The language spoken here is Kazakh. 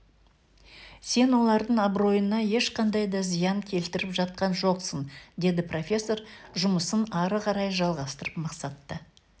сен олардың абыройына ешқандай да зиян келтіріп жатқан жоқсың деді профессор жұмысын ары қарай жалғастырып мақсатты